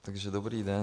Takže dobrý den.